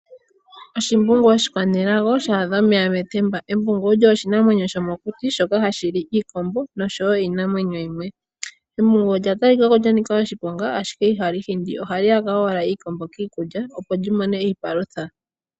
Oshimbungu oshi kwanelago sha adha omeya metemba, embungu olyo oshi namwenyo shomo kuti shoka hashi li iikombo niinamwenyo yimwe. Embungu olya talikako lya nika oshiponga ashike ihali hindi ohali yaka owala iikombo kiigunda opo li mone iipalutha.